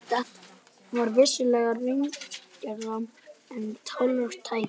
Þetta var vissulega raunalegra en tárum tæki.